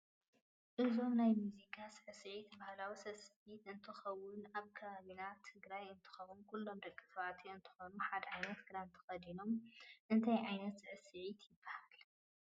እዞም ናይ መዝቃ ስዕስዕት ባህላዊ ስዕስዕት እንትከውን ኣብ ከባቢ ትግራይ እንትከውን ኩሉም ደቂ ተባዕትዮ እንትኮኑሓደ ዓይነት ክዳን ተከደኖም እንታይ ዓይነት ስስዒት ይብሃል?